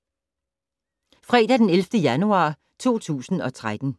Fredag d. 11. januar 2013